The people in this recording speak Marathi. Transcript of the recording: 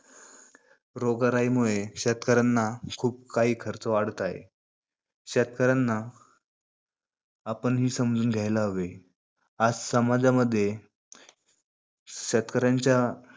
रोग राईमुळे शेतकऱ्यांना खूप काही खर्च वाढत आहे. शेतकऱ्यांना आपणही समजून घ्यायला हवे. आज समाजामध्ये